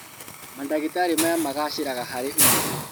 Mandagĩtarĩ maya magacĩraga harĩ ũmenyo